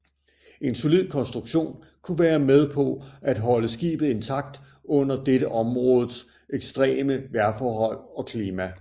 En solid konstruktion kunne være med på at holde skibet intakt under dette områdets ekstreme vejrforhold og klima